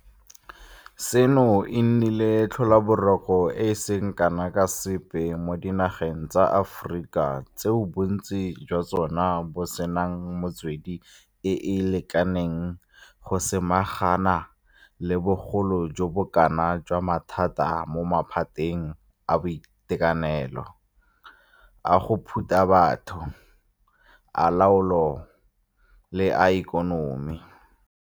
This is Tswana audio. Seno e nnile tlhobaboroko e e seng kana ka sepe mo dinageng tsa Aforika tseo bontsi jwa tsone bo senang metswedi e e lekaneng go samagana le bogolo jo bo kana jwa mathata mo maphateng a boitekanelo, a go phuta batho, a loago le a ikonomi.